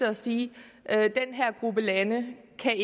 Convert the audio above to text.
at sige at den her gruppe lande kan